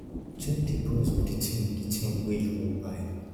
check di price of di thing di thing wey you wan buy